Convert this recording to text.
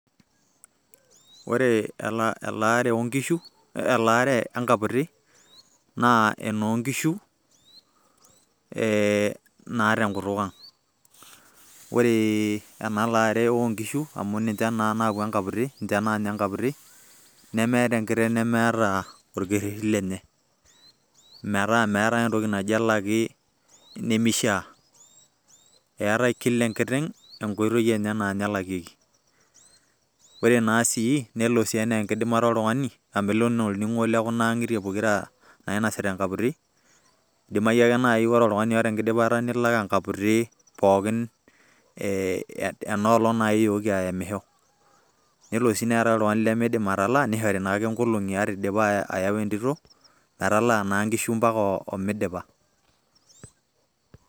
Ore elaare onkishu, elaare enkaputi, naa enoo nkishu eh naa tenkutuk ang'. Ore enalaare onkishu amu ninche naaku enkaputi, ninche nanya enkaputi, nemeeta enkiteng' nemeeta orkerrerri lenye. Metaa meetae entoki naji elaki nimishaa. Eeta kila enkiteng' enkoitoi enye naanye elakieki. Ore na sii, nelo naa enaa enkidimata oltung'ani, nelo enaa olning'o lokunaang'itie pokira nainasita enkaputi. Idimayu ake nai Ore oltung'ani oota enkidimata nelak enkaputi pookin eh enkolong' naa iyooki aemisho. Nelo si neetae oltung'ani limiidim atalaa, nishore naake inkolong'i ata idipa ayau entito, metalaa naa nkishu mpaka omidipa.